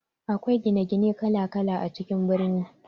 Akwai gine gine kala kala a cikin birni.